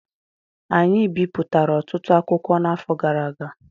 Anyị bipụtara ọtụtụ akwụkwọ n'afọ gara aga